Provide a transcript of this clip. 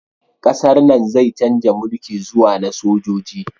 Ƙasar nan zai chanza mulki zuwa na sojoji